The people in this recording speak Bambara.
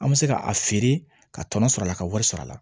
An bɛ se ka a feere ka tɔnɔ sɔrɔ a la ka wari sɔrɔ a la